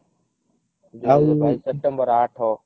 ଦୁଇ ହଜାର ବାଇଶି ସେପ୍ଟେମ୍ବର ଆଠ